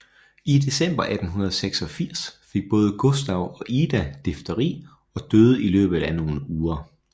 I december 1886 fik både Gustav og Ida difteri og døde i løbet af nogle uger